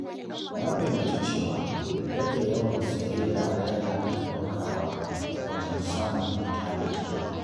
Na fahimci cewa rage yawan sayayya yana taimakawa wajen samun tanadi.